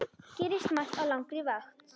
Gerist margt á langri vakt.